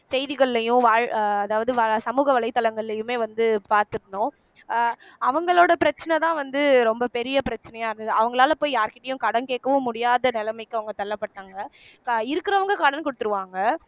செய்திகள்லயும் வாழ் அதாவது சமூக வலைதளங்கள்லயுமே வந்து பார்த்திருந்தோம் அஹ் அவங்களோட பிரச்சனைதான் வந்து ரொம்ப பெரிய பிரச்சனையா இருந்தது அவங்களால போய் யார்கிட்டயும் கடன் கேட்கவும் முடியாத நிலைமைக்கு அவங்க தள்ளப்பட்டாங்க அஹ் இருக்கறவங்க கடன் குடுத்திருவாங்க